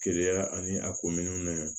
Keleya ani a kominɛnw ni